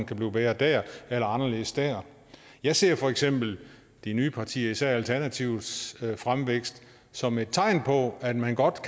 kan blive bedre dér eller anderledes dér jeg ser for eksempel de nye partiers især alternativets fremvækst som et tegn på at man godt